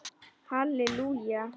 Halli Júlía!